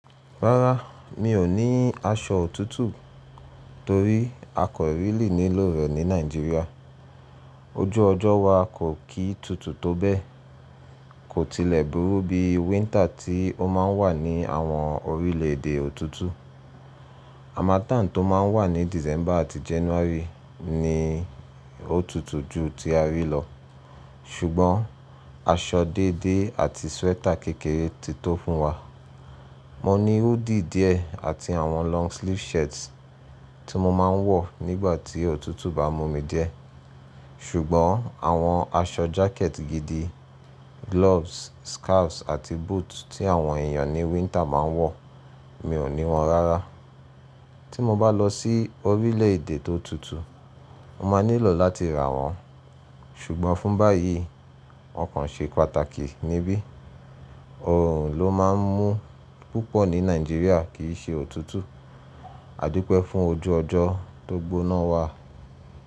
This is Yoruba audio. Rárá, mi ò ní aṣọ òtútù torí àkọ really nílò rẹ̀ ní Nàìjíríà. Ojú ọjọ́ wa kò kí tutù tó bẹ́ẹ̀, kò tilẹ̀ burú bí wínter tí ó má ń wà ní àwọn orílẹ̀ èdè òtútù. Harmattan tó má ń wà ní December àti January ni ó tutù jù tí a rí lọ, ṣùgbọ́n aṣọ dédé àti sweater kékeré ti tó fún wa. Mo ní hoodie díẹ̀ àti àwọn long sleeve shirts tí mo má ń wọ̀ nígbà tí òtútù bá mú mi diẹ́. Ṣùgbọ́n àwọn aṣọ jacket gidi, gloves, scarves àti boots tí àwọn èèyàn ní wíntà má ń wọ̀, mi ò ní wọn rárá. Tí mo bá lọ sí orílẹ̀ èdè tó tutù, mo máa nílò láti rà wọ́n, ṣùgbọ́n fún báyìí, wọ́n kàn ṣe pàtàkì níbí. Òòrùn ló má ń mú púpọ̀ ní Nàìjíríà kì í ṣe òtútù, àdúpẹ́ fún ojú ọjọ́ tó gbóná wa.